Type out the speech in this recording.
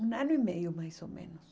Um ano e meio, mais ou menos.